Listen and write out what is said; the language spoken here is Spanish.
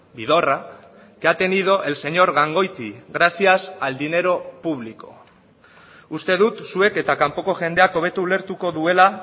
vidorra que ha tenido el señor gangoiti gracias al dinero público uste dut zuek eta kanpoko jendeak hobeto ulertuko duela